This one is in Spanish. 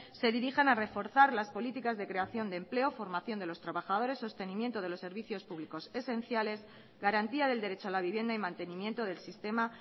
se dirijan a reforzar las políticas de creación de empleo formación de los trabajadores sostenimiento de los servicios públicos esenciales garantía del derecho a la vivienda y mantenimiento del sistema